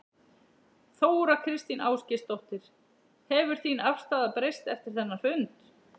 Þóra Kristín Ásgeirsdóttir: Hefur þín afstaða breyst eftir þennan fund?